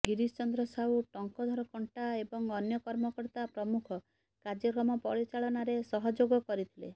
ଗିରୀଶ ଚନ୍ଦ୍ର ସାହୁ ଟଙ୍କଧର କଣ୍ଟା ଏବଂ ଅନ୍ୟ କର୍ମକର୍ତା ପ୍ରମୁଖ କାର୍ଯ୍ୟକ୍ରମ ପରିଚାଳନାରେ ସହଯୋଗ କରିଥିଲେ